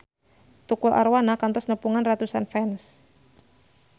Tukul Arwana kantos nepungan ratusan fans